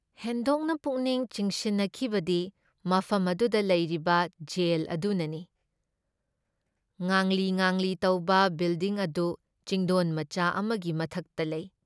ꯍꯦꯟꯗꯣꯛꯅ ꯄꯨꯛꯅꯤꯡ ꯆꯤꯡꯁꯤꯟꯅꯈꯤꯕꯗꯤ ꯃꯐꯝ ꯑꯗꯨꯗ ꯂꯩꯔꯤꯕ ꯖꯦꯜ ꯑꯗꯨꯅꯅꯤ ꯫ ꯉꯥꯡꯂꯤ ꯉꯥꯡꯂꯤ ꯇꯧꯕ ꯕꯤꯜꯗꯤꯡ ꯑꯗꯨ ꯆꯤꯡꯗꯣꯟꯃꯆꯥ ꯑꯃꯒꯤ ꯃꯊꯛꯇ ꯂꯩ ꯫